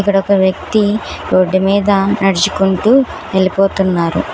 ఇక్కడ ఒక వ్యక్తి రోడ్డు మీద నడుచుకుంటూ వెళ్ళిపోతున్నారు.